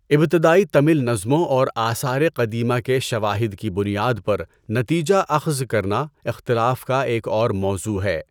ابتدائی تمل نظموں اور آثار قدیمہ کے شواہد کی بنیاد پر تنیجہ اخذ کرنا اختلاف کا ایک اور موضوع ہے۔